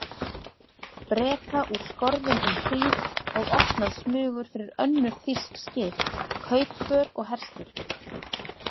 Breta úr skorðum um hríð og opnað smugur fyrir önnur þýsk skip, kaupför og herskip.